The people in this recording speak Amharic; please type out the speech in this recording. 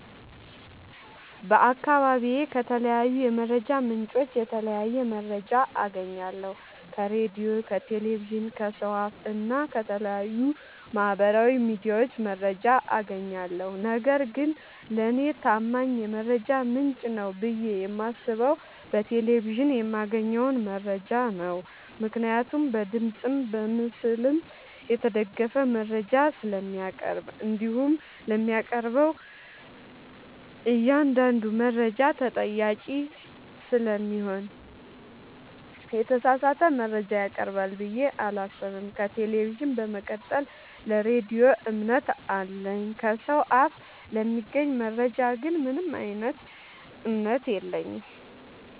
በአካባቢዬ ከተለያዩ የመረጃ ምንጮች የተለያየ መረጃ አገኛለሁ ከራዲዮ ከቴሌቪዥን ከሰው አፋ እና ከተለያዩ ማህበራዊ ሚዲያዎች መረጃ አጋኛለሁ። ነገርግን ለኔ ታማኝ የመረጃ ምንጭ ነው ብዬ የማስበው በቴሌቪዥን የማገኘውን መረጃ ነው ምክንያቱም በድምፅም በምስልም የተደገፈ መረጃ ስለሚያቀርብ። እንዲሁም ለሚያቀርበው እኛአንዳዱ መረጃ ተጠያቂ ስለሚሆን የተሳሳተ መረጃ ያቀርባል ብዬ አላሰብም። ከቴሌቪዥን በመቀጠል ለራዲዮ እምነት አለኝ። ከሰው አፍ ለሚገኝ መረጃ ግን ምንም እምነት የለኝም።